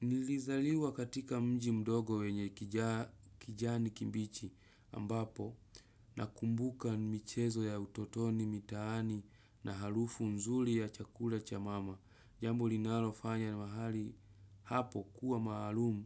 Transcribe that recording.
Nilizaliwa katika mji mdogo wenye kijani kimbichi ambapo nakumbuka ni michezo ya utotoni, mitaani na harufu nzuri ya chakula cha mama. Jambo linalofanya mahali hapo kuwa maalumu